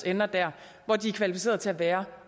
ender der hvor de er kvalificeret til at være